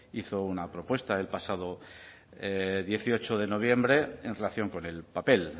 hizo una propuesta el pasado dieciocho de noviembre en relación con el papel